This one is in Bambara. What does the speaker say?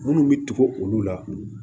Minnu bɛ tugu olu la